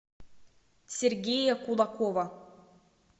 сергея кулакова